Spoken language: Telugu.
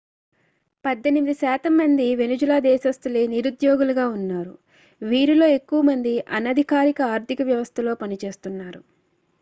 18 శాతం మంది వెనిజులా దేశస్తులే నిరుద్యోగులుగా ఉన్నారు వీరిలో ఎక్కువ మంది అనధికారిక ఆర్థిక వ్యవస్థలో పనిచేస్తున్నారు